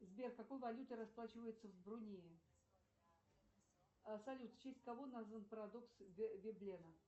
сбер какой валютой расплачиваются в брунее салют в честь кого назван парадокс вебена